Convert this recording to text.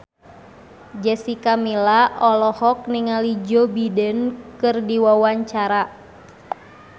Jessica Milla olohok ningali Joe Biden keur diwawancara